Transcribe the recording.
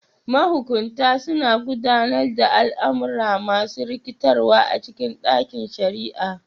Mahukunta suna gudanar da al'amura masu rikitarwa a cikin ɗakin shari'a.